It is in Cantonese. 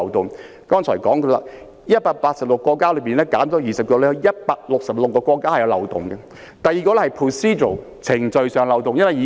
我剛才說過，全球186個國家之中，減去20個後，本港與166個國家之間的安排是存在漏洞的。